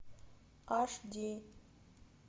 аш ди